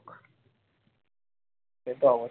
সে তো অবশ্যই